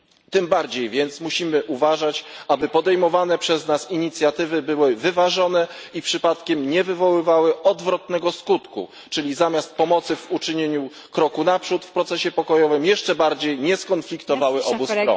Tym bardziej więc musimy uważać, aby podejmowane przez nas inicjatywy były wyważone i przypadkiem nie wywoływały odwrotnego skutku, czyli zamiast pomocy w uczynieniu kroku naprzód w procesie pokojowym, jeszcze bardziej nie skonfliktowały obu stron.